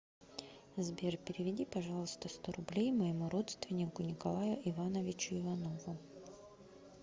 сбер переведи пожалуйста сто рублей моему родственнику николаю ивановичу иванову